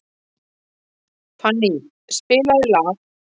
Fanny, spilaðu lag.